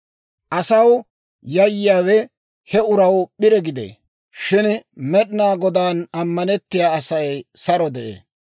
Asaw yayyiyaawe he uraw p'ire gidee; shin Med'inaa Godaan ammanettiyaa Asay saro de'ee.